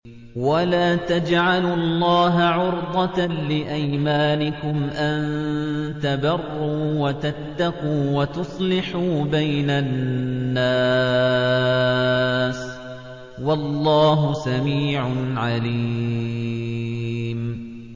وَلَا تَجْعَلُوا اللَّهَ عُرْضَةً لِّأَيْمَانِكُمْ أَن تَبَرُّوا وَتَتَّقُوا وَتُصْلِحُوا بَيْنَ النَّاسِ ۗ وَاللَّهُ سَمِيعٌ عَلِيمٌ